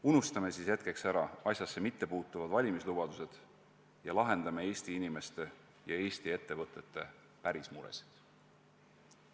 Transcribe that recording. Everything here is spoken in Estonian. Unustame hetkeks ära asjasse mittepuutuvad valimislubadused ning lahendame Eesti inimeste ja Eesti ettevõtete päris muresid.